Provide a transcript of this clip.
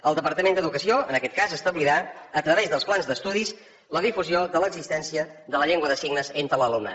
el departament d’educació en aquest cas establirà a través dels plans d’estudis la difusió de l’existència de la llengua de signes entre l’alumnat